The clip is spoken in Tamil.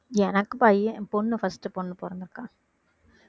எனக்கு பையன் பொண்ணு first பொண்ணு பிறந்து இருக்கா